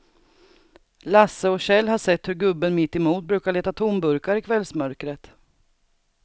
Lasse och Kjell har sett hur gubben mittemot brukar leta tomburkar i kvällsmörkret.